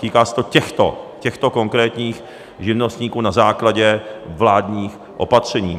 Týká se to těchto konkrétních živnostníků na základě vládních opatření.